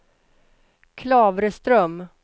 Klavreström